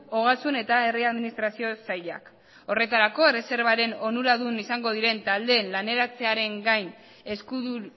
ogasun eta herri administrazio sailak horretarako erreserbaren onuradun izango diren taldeen laneratzearen gain eskudun